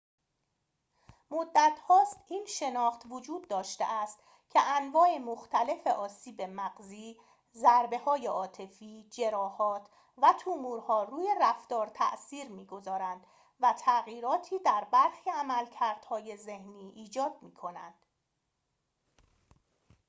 مدتهاست این شناخت وجود داشته است که انواع مختلف آسیب مغزی ضریه‌های عاطفی جراحات و تومورها روی رفتار تأثیر می‌گذارند و تغییراتی در برخی عملکردهای ذهنی ایجاد می‌کنند